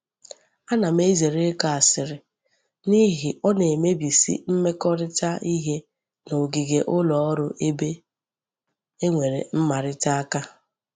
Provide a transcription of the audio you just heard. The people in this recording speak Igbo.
Ana m ezere iko asiri nihi o na-adi emebisi mmekorita ihe nogige uloru ebe e nwere mmarita aka